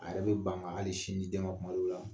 A yɛrɛ bɛ ban hali sin di den tuma dɔw la